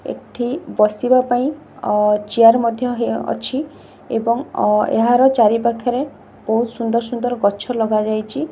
ଏଠି ବସିବା ପାଇଁ ଅ ଚେୟାର୍ ମଧ୍ୟ ହେଅ ଅଛି ଏବଂ ଅ ଏହାର ଚାରି ପାଖେରେ ବୋହୁତ୍ ସୁନ୍ଦର୍ ସୁନ୍ଦର୍ ଗଛ ଲଗାଯାଇଚି।